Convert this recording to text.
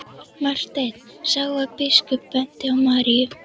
Marteinn sá að biskup benti á Maríu.